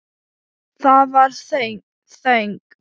Það var þögn.